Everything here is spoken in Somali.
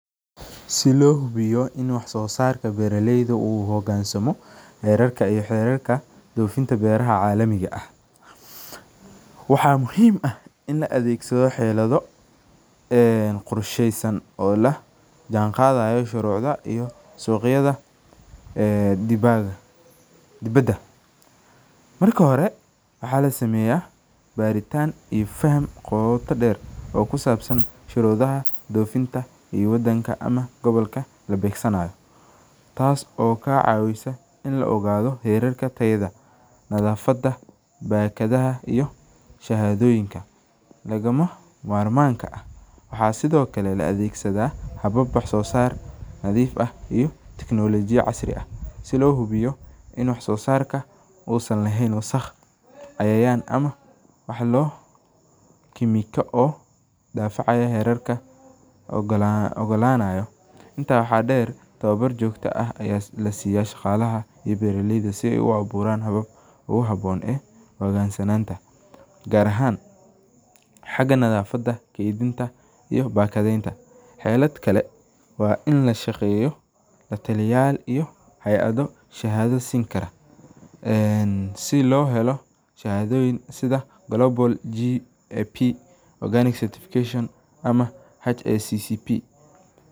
Si lo hubiyo in wax sosarka beera leydu u hansamo xerarka dofinta beera calamiga ah, waxaa muhiim ah in la adhegsado xeladha ee qorsheysan ee la jahan qadhesa sharucda iyo suqyaada ee dibaada, marka hore maxaa lasameya baritan qota deer oo kusabsan dofinta iyo wadanka ama gobolka la beedsanayo, waxaa sithokale la adhegsadha hub ama kemikal, ee si lo helo.